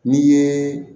N'i ye